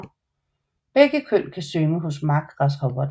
Begge køn kan synge hos markgræshopperne